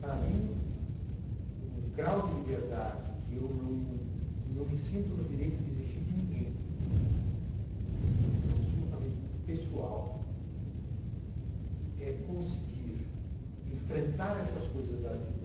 Para mim, um grau de liberdade que eu não, não me sinto no direito de exigir de ninguém, porque essa é uma questão absolutamente pessoal, né, é conseguir enfrentar essas coisas da vida,